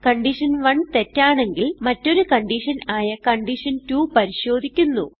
condition one തെറ്റാണെങ്കിൽ മറ്റൊരു condition ആയ കണ്ടീഷൻ2 പരിശോധിക്കുന്നു